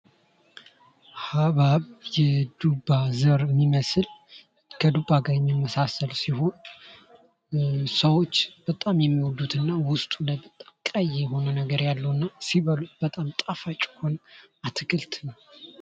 ሀብሃብ የዱባ ዘር የሚመስል ከዱባ ጋር የሚመሳሰል ሲሆን ሰዎች በጣም የሚወዱት እና ውስጡ ላይ በጣም ቀይ የሆነ ነገር ያለውና ሲበሉት በጣም ጣፋጭ የሆነ አትክልት ነው::